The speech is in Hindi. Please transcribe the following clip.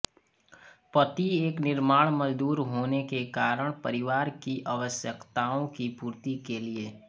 पति एक निर्माण मजदूर होने के कारण परिवार की आवश्यकताओं की पूर्ति के लिए